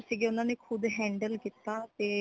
ਉਣਾਨੇ ਖੁਦ handle ਕੀਤਾ ਤੇ